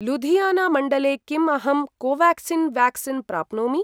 लुधियाना मण्डले किम् अहं कोवाक्सिन् व्याक्सीन् प्राप्नोमि?